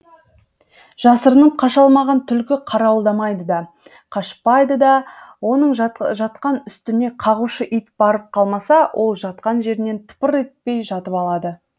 жасырынып қаша алмаған түлкі қарауылдамайды да қашпайды да оның жатқан үстіне қағушы ит барып қалмаса ол жатқан жерінен тыпыр етпей жатып алады